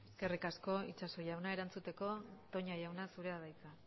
eskerrik asko itxaso jauna erantzuteko toña jauna zurea da hitza